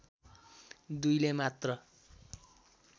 दुईले मात्र